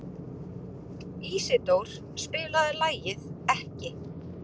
Ísidór, spilaðu lagið „Ekki“.